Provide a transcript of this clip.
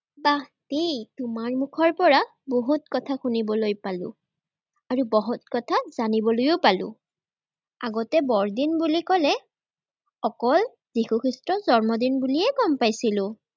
বাহ দেই, তোমাৰ মুখৰপৰা বহুত কথা শুনিবলৈ পালো, আৰু বহুত কথা জানিবলৈও পালো। আগতে বৰদিন বুলি ক'লে অকল যীশু খ্ৰীষ্টৰ জন্মদিন বুলিয়েই গ'ম পাইছিলো।